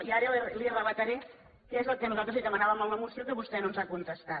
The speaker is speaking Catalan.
i ara li relataré què és el que nosaltres li demanàvem en la moció que vostè no ens ha contestat